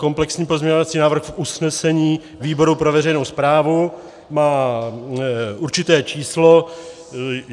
Komplexní pozměňovací návrh v usnesení výboru pro veřejnou správu má určité číslo.